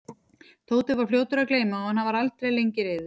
Tóti var svo fljótur að gleyma og hann var aldrei lengi reiður.